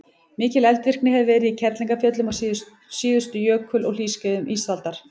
mikil eldvirkni hefur verið í kerlingarfjöllum á síðustu jökul og hlýskeiðum ísaldar